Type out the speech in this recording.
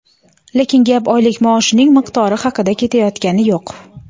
Lekin gap oylik maoshning miqdori haqida ketayotgani yo‘q.